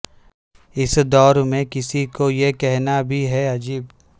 اس دور میں کسی کو یہ کہنا بھی ہے عجب